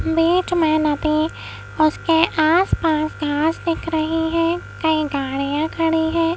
बीच मे नदी उसके आस-पास घास दिख रही है कई गाड़ियां खड़ी है।